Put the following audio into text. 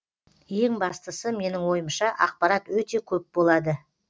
ең бастысы менің ойымша ақпарат өте көп болады